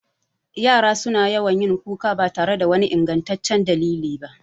Yara su na yawan yin kuka ba tare da wani ingantaccen dalili ba